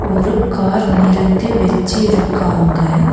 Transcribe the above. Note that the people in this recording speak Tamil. ஒரு கார் நிறுத்தி வெச்சு இருக்காங்க.